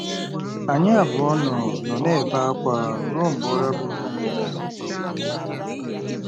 Anyị abụọ nọ nọ na-ebe ákwá ruo mgbe ụra buuru ya.